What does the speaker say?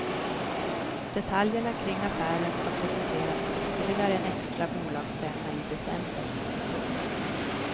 Detaljerna kring affären ska presenteras på ytterligare en extra bolagsstämma i december. punkt